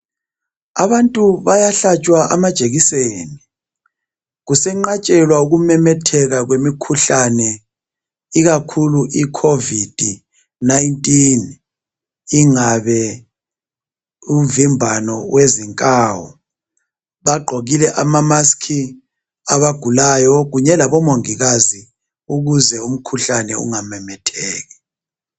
Abantu bayahlatshwa amajekiseni kusenqatshela uku kwemikhuhlane ikakhulu iCovid 19 ungabe umvimbane yezinkawu bagqokile ama masiki abagulayo labo mongikazi ukuze umkhuhlane ungamemetheki.